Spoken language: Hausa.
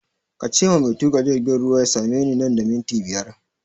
Kace ma mai tuƙa jirgin ruwa ya same ni nan da minti biyar!